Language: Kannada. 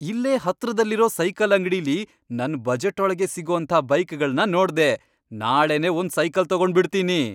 ಇಲ್ಲೇ ಹತ್ರದಲ್ಲಿರೋ ಸೈಕಲ್ ಅಂಗ್ಡಿಲಿ ನನ್ ಬಜೆಟ್ಟೊಳ್ಗೇ ಸಿಗೋಂಥ ಬೈಕ್ಗಳ್ನ ನೋಡ್ದೆ, ನಾಳೆನೇ ಒಂದ್ ಸೈಕಲ್ ತಗೊಂಡ್ಬಿಡ್ತೀನಿ!